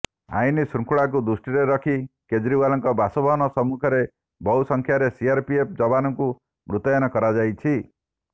ଆଇନଶୃଙ୍ଖଳାକୁ ଦୃଷ୍ଟିରେ ରଖି କେଜ୍ରିୱାଲଙ୍କ ବାସଭବନ ସମ୍ମୁଖରେ ବହୁ ସଂଖ୍ୟାରେ ସିଆରପିଏଫ୍ ଯବାନଙ୍କୁ ମୁତୟନ କରାଯାଇଛି